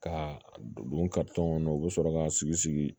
Ka a don kɔnɔ u bɛ sɔrɔ ka sigi sigi